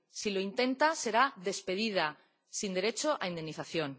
Si lo intenta, será despedida, sin derecho a indemnización.